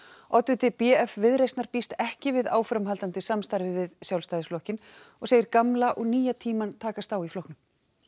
oddviti b f Viðreisnar býst ekki við áframhaldandi samstarfi við Sjálfstæðisflokkinn og segir gamla og nýja tímann takast á í flokknum